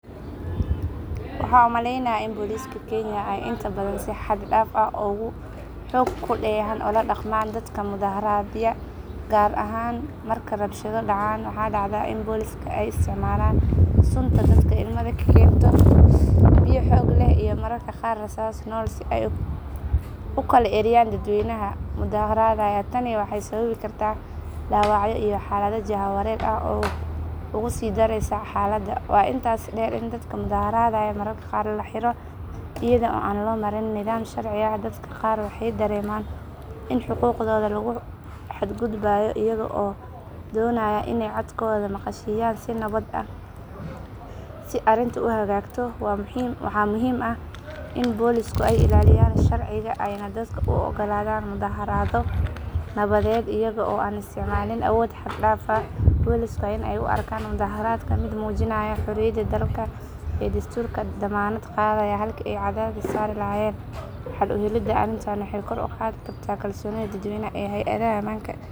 Waxaan u malaynayaa in booliska kenya ay inta badan si xad dhaaf ah oo xoog ku dheehan ula dhaqmaan dadka mudaaharaadaya gaar ahaan marka rabshado dhacaan. Waxaa dhacda in booliska ay isticmaalaan sunta dadka ilmada ka keenta, biyo xoog leh iyo mararka qaar rasaas nool si ay u kala eryaan dadweynaha mudaaharaadaya. Tani waxay sababi kartaa dhaawacyo iyo xaalad jahwareer ah oo uga sii daraysa xaaladda. Waxaa intaa dheer in dadka mudaharaadaya mararka qaar la xiro iyada oo aan loo marin nidaam sharci ah. Dadka qaar waxay dareemaan in xuquuqdooda lagu xadgudbay iyaga oo doonaya inay codkooda maqashiinayaan si nabad ah. Si arrintu u hagaagto waxaa muhiim ah in boolisku ay ilaaliyaan sharciga ayna dadka u oggolaadaan mudaaharaad nabadeed iyaga oo aan isticmaalin awood xad dhaaf ah. Booliska waa in ay u arkaan mudaaharaadka mid muujinaya xorriyadda hadalka ee dastuurku dammaanad qaaday halkii ay cadaadis saari lahaayeen. Xal u helidda arrintan waxay kor u qaadi kartaa kalsoonida dadweynaha ee hay’adaha ammaanka.